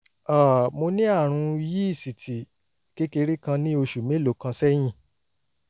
um mo ní àrùn yíísìtì kékeré kan ní oṣù mélòó kan sẹ́yìn